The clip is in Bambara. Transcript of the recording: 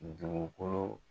dugukolo.